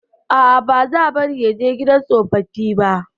A'a, ba za bari ya je gidan tsofaffi ba.